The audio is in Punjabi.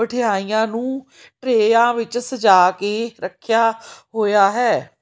ਮਠਿਆਈਆਂ ਨੂੰ ਟਰੇਆ ਵਿੱਚ ਸਜਾ ਕੇ ਰੱਖਿਆ ਹੋਇਆ ਹੈ।